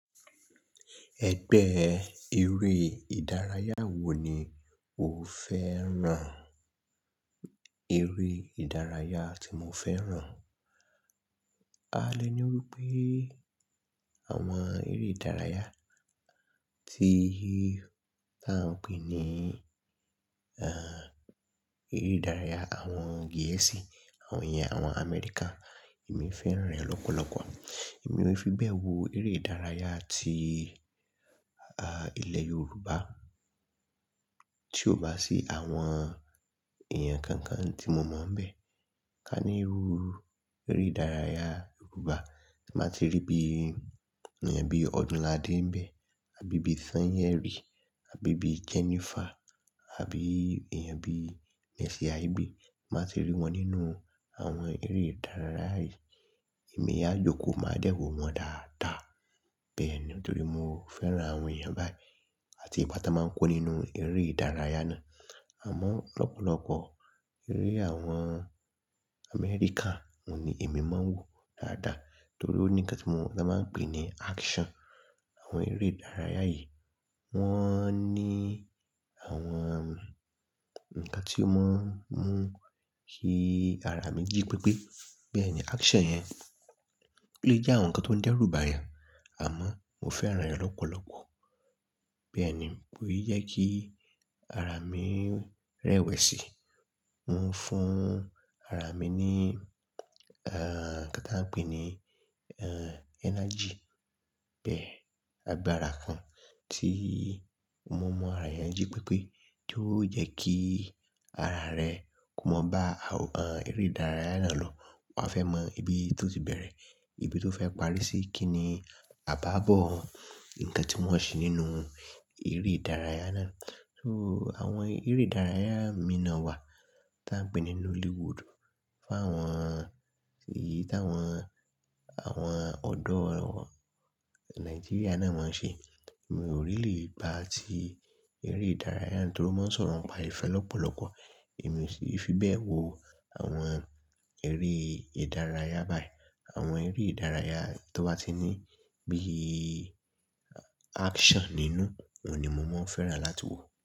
Ẹgbẹ́ eré ìdárayá wo ni o fẹ́ràn? Eré ìdárayá tí mo fẹ́ràn. A lè ní wípé àwọn eré ìdárayá tí, tí a ń pè ní, ehn, eré ìdárayá àwọn gẹ̀ẹ́sì, àwọn èèyàn àwọn Amẹríkà. Èmi fẹ́ràn rẹ̀ lọ́pọ̀lọ́pọ̀. Èmi ò fi bẹ́ẹ̀ wo eré ìdárayá tí, aah, ilẹ̀ Yorùbá tí ò bá sí àwọn èèyàn kan kan tí mo mọ̀ bẹ́ẹ̀. Ka ní iru eré ìdárayá Yorùbá tí màá ti rí bí i èèyàn bí i Ọ̀dúnládé ń bẹ́ àbí bí i Sányẹ̀rì àbí bí i Jennifer àbí èèyàn bí i Mercy Aigbe. Màá ti rí wọn nínú àwọn eré ìdárayá yìí, èmi yá jókòó máa dẹ́ọ̀ wọ́n dáadáa. Bẹ́ẹ̀ ni nítorí mo fẹ́ràn àwọn èèyàn báyìí àti ìpátá máa ń kó nínú eré ìdárayá náà. Àmọ́ lọ́pọ̀lọpọ̀ eré àwọn Amẹ́ríkà òun ni èmi máa ń wò dáadáa nítorí ó ní ǹkan tí wọ́n máa ń pè ní action. Àwọn eré ìdárayá yìí wọ́n ní àwọn ǹkan tí ó máa ń mú kí ara mi jí pípé. Bẹ́ẹ̀ ni action yẹn lè jẹ́ àwọn nǹkan tó ń dẹ́rùbà yẹn àmọ́ mo fẹ́ràn rẹ̀ lọ́pọ̀lọpọ̀. Bẹ́ẹ̀ ni, òun yẹ kí ara mi rẹwẹ̀sì, ó ń fún ara mi ní, ehn, kí n tó pè é ní, ehn, àgbàra (energy) bẹ́ẹ̀. Agbára kan tí mo mọ ara yẹn jí pípé tí ó jẹ́ kí ara rẹ kò mọ̀ bá, ehn, eré ìdárayá náà lọ. Wọ́n á fẹ́ mọ ibi tó ti bẹ̀rẹ̀, ibi tó fẹ́ parí sí, kí ni àbábọ̀ ǹkan tí wọ́n ṣe nínú eré ìdárayá náà. So àwọn eré ìdárayá mi nà wá tí a ń pè ní Nollywood fún àwọn èyí tí àwọn, àwọn ọ̀dọ́ wọ, Nàìjíríà náà máa ń ṣe. Èmi ò rí lè bá a ti eré ìdárayá nítorí wọ́n ń sọ̀rọ̀ pa ìfẹ́ lọ́pọ̀lọpọ̀. Èmi ò fi fi bẹ́ẹ̀ wo àwọn eré ìdárayá báyìí. Àwọn eré ìdárayá tó bá ti ní bí i action nínú òun ni mo máa ń fẹ́ràn láti wò.